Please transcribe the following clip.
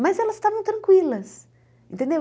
Mas elas estavam tranquilas, entendeu?